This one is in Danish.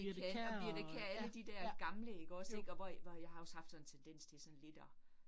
Det og Birthe Kjær og alle de der gamle ikke også ik, og hvor hvor jeg har også haft sådan en tendens til sådan lidt at